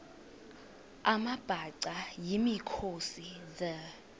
amabhaca yimikhosi the